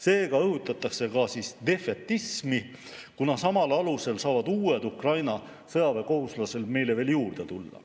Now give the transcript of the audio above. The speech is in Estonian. Seega õhutatakse ka siis defetismi, kuna samal alusel saavad uued Ukraina sõjaväekohuslased meile veel juurde tulla.